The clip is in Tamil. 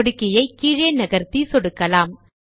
சொடுக்கியை கீழே நகர்த்தி சொடுக்கலாம்